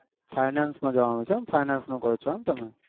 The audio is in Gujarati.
finance નું કહો છો એમ તમે